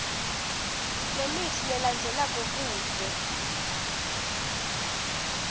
lemitsi lelandzelako kute